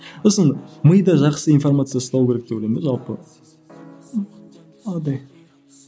сосын миды жақсы информация ұстау керек деп ойлаймын да жалпы